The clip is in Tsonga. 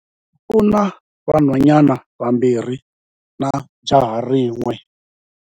U na vanhwanyana vambirhi na jaha rin'we.